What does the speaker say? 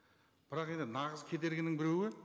бірақ енді нағыз кедергінің біреуі